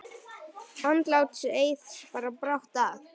Andlát Eiðs bar brátt að.